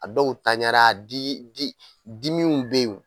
A dɔw tanɲa na di di dimi kun bɛ yen